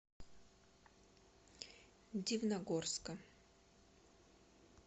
дивногорска